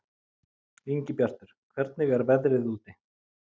Ingibjartur, hvernig er veðrið úti?